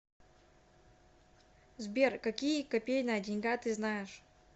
сбер какие копейная деньга ты знаешь